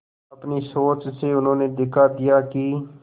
अपनी सोच से उन्होंने दिखा दिया कि